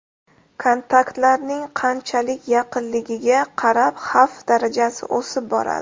Kontaktlarning qanchalik yaqinligiga qarab xavf darajasi o‘sib boradi.